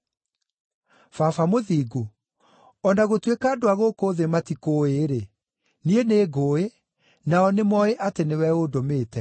“Baba Mũthingu, o na gũtuĩka andũ a gũkũ thĩ matikũũĩ-rĩ, niĩ nĩngũũĩ, nao nĩ moĩ atĩ nĩwe ũndũmĩte.